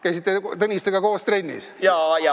Käisite Tõnistega koos trennis?